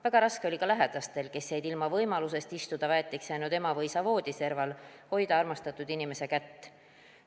Väga raske oli ka lähedastel, kes jäid ilma võimalusest istuda väetiks jäänud ema või isa voodiserval, hoida armastatud inimese kätt.